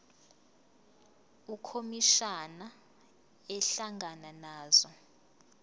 ukhomishana ehlangana nazo